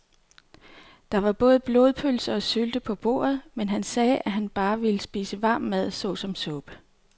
Der var både blodpølse og sylte på bordet, men han sagde, at han bare ville spise varm mad såsom suppe.